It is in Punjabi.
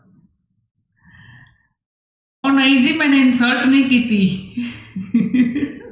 ਉਹ ਨਹੀਂ ਜੀ ਮੈਨੇ insult ਨਹੀਂ ਕੀਤੀ